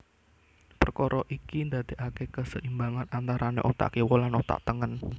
Perkara iki ndadekake keseimbangan antarane otak kiwa lan otak tengen